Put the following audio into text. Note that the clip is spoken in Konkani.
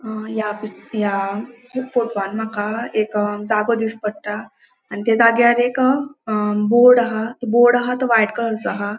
ह या पिक्च या फोटवान माका एक जागो दिस पट्टा आणि त्या जाग्यार एक अ बोर्ड आहा तो बोर्ड आहा तो व्हाइट कलर चो हा.